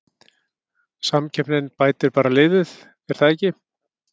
Samkeppnin bætir bara liðið er það ekki?